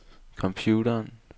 computeren